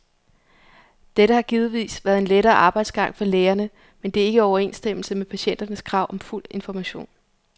Dette har givetvis været en lettere arbejdsgang for lægerne, men det er ikke i overensstemmelse med patienternes krav om fuld information.